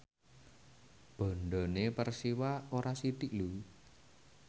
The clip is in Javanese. bandhane Persiwa ora sithik lho